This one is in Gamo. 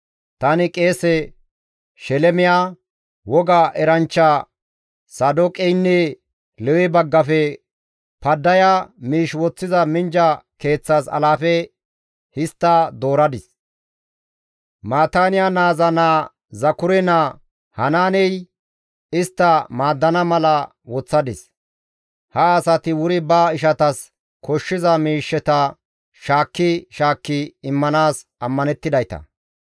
Tani qeese Shelemiya, woga eranchcha Saadooqeynne Lewe baggafe Paddaya miish woththiza minjja keeththas alaafe histta dooradis; Maataaniya naaza naa Zakure naa Hanaaney istta maaddana mala woththadis; ha asati wuri ba ishatas koshshiza miishsheta shaakki shaakki immanaas ammanettidayta.